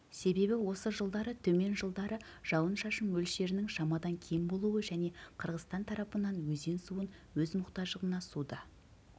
себебі осы жылдары төмен жылдары жауын-шашын мөлшерінің шамадан кем болуы және қырғызстан тарапынан өзен суын өз мұқтаждығына суды